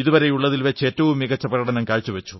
ഇതുവരെയുള്ളതിൽ വച്ചേറ്റവും മികച്ച പ്രകടനം കാഴ്ചവച്ചു